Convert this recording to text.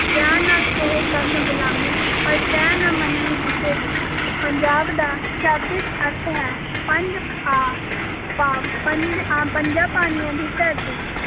ਪਿਆਰ ਨਾਲ ਇਹ ਕਰਨ ਗੁਲਾਮੀ ਪਰ ਟੈਂ ਨਾ ਮੰਨਣ ਕਿਸੇ ਦੀ, ਪੰਜਾਬ ਦਾ ਸ਼ਾਬਦਿਕ ਅਰਥ ਹੈ ਪੰਜ ਆ ਭਾਵ ਪੰਜ ਆਂ, ਪੰਜਾਂ ਪਾਣੀਆਂ ਦੀ ਧਰਤੀ।